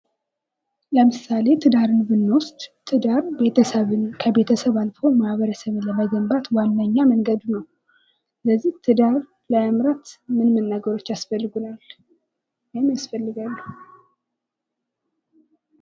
ለምሳሌ ትዳርን ብንወስድ ትዳር ቤተሰብን ከቤተሰብ አልፎ ማህበረሰብን ለመገንባት ዋነኛ መንገድ ነው። ለዚህ ትዳር ለመምራት ምን ምን ነገሮች ያስፈልጉናል ወይም ይፈልጋሉ?